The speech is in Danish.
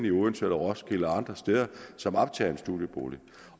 i odense roskilde eller andre steder som optager en studiebolig